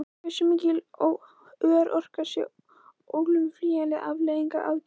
Hversu mikil örorka sé óumflýjanleg afleiðing af aðgerðinni?